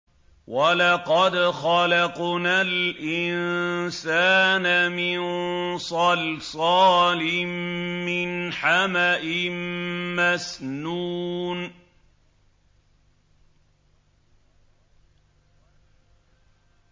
وَلَقَدْ خَلَقْنَا الْإِنسَانَ مِن صَلْصَالٍ مِّنْ حَمَإٍ مَّسْنُونٍ